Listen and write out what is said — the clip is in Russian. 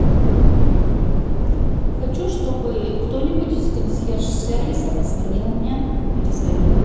хочу чтобы кто нибудь из консьерж сервиса позвонил мне перезвонил